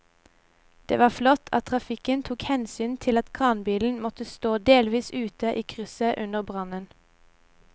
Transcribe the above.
Det var flott at trafikken tok hensyn til at kranbilen måtte stå delvis ute i krysset under brannen.